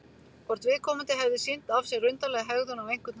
Hvort viðkomandi hefði sýnt af sér undarlega hegðun á einhvern hátt?